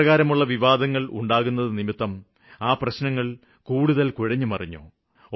ഇപ്രകാരമുള്ള വിവാദങ്ങള് മൂലം ആ പ്രശ്നങ്ങള് കുഴഞ്ഞുമറിഞ്ഞു